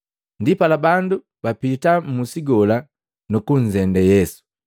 Ndipala bandu bapita mmusi gola nukunzende Yesu.